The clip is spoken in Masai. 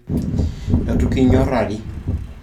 Etukinyorari